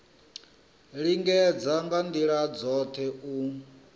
lingedza nga ndila dzothe u